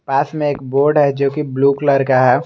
पास में एक बोर्ड है जो की ब्लू कलर का है।